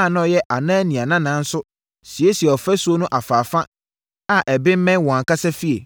a na ɔyɛ Anania nana nso siesiee ɔfasuo no afaafa a ɛbemmɛn wɔn ankasa afie.